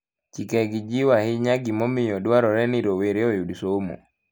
Chikegi jiwo ahinya gimomiyo dwarore ni rowere oyud somo.